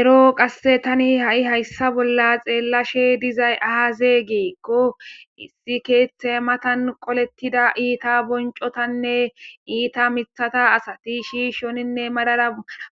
ero qasse tani ha7i hayssa bolla xeellashe dizay haazegiikqo issi keeththe matan qolettida iita boncotanne iita mithata asati shiishoninne madara